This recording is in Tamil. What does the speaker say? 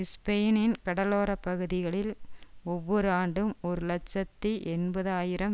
ஸ்பெயினின் கடலோர பகுதிகளில் ஒவ்வொரு ஆண்டும் ஒரு இலட்சத்தி எண்பது ஆயிரம்